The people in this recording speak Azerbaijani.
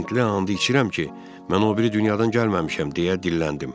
Hindli and içirəm ki, mən o biri dünyadan gəlməmişəm deyə dilləndim.